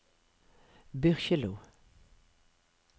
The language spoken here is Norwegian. Byrkjelo